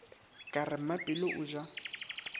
ka re mmapelo o ja